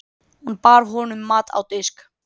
Sigurður Gizurarson.